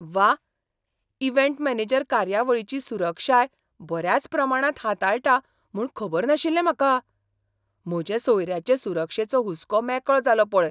व्वा, event manager कार्यावळीची सुरक्षाय बऱ्याच प्रमाणांत हाताळटा म्हूण खबर नाशिल्लें म्हाका! म्हजे सोयऱ्यांचे सुरक्षेचो हुस्को मेकळो जालो पळय.